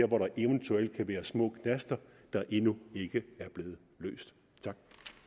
hvor der eventuelt kan være små knaster der endnu ikke er blevet løst tak